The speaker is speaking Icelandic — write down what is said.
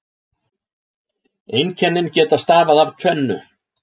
Einkennin geta stafað af tvennu.